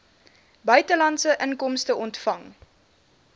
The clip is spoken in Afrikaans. buitelandse inkomste ontvang